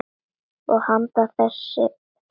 Og handan þess: friður.